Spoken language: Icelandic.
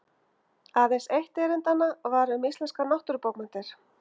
Aðeins eitt erindanna var um íslenskar nútímabókmenntir.